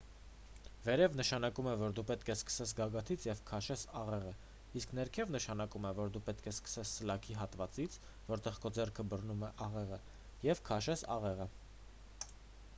վերև նշանակում է,որ դու պետք է սկսես գագաթից և քաշես աղեղը իսկ ներքև նշանակում է որ դու պետք է սկսես սլաքի հատվածից որտեղ քո ձեռքը բռնում է աղեղը և քաշես աղեղը: